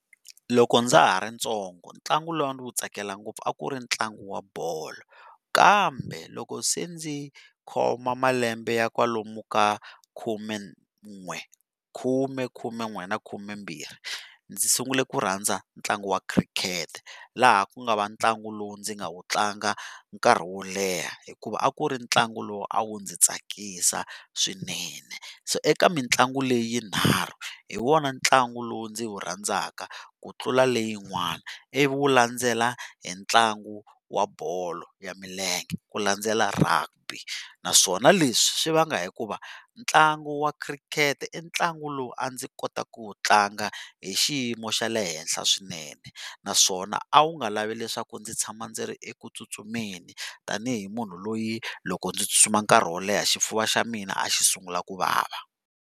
Loko ndza ha ri ntsongo ntlangu lowu a ndzi wu tsakela ngopfu a ku ri ntlangu wa bolo, kambe loko se ndzi khoma malembe ya kwalomu ka khumen'we khume khumen'we na khumembirhi, ndzi sungule ku rhandza ntlangu wa khirikhete laha ku nga va ntlangu lowu ndzi nga wu tlanga nkarhi wo leha, hikuva a ku ri ntlangu lowu a wu ndzi tsakisa swinene, so eka mitlangu leyi yinharhu hi wona ntlangu lowu ndzi wu rhandzaka ku tlula leyi yin'wana ivi wu landzela hi ntlangu wa bolo milenge ku landzela Rugby naswona leswi swi vanga hikuva ntlangu wa khirikhete i ntlangu lowu a ndzi kota ku wu tlanga hi xiyimo xa le henhla swinene, naswona a wu nga lavi leswaku ndzi tshama ndzi ri eku tsutsumeni tanihi munhu loyi loko ndzi tsutsuma nkarhi wo leha xifuva xa mina a xi sungula ku vava.